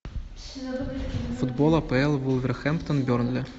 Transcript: футбол апл вулверхэмптон бернли